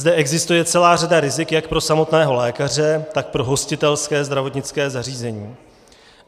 Zde existuje celá řada rizik jak pro samotného lékaře, tak pro hostitelské zdravotnické zařízení.